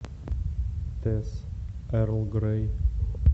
тесс эрл грей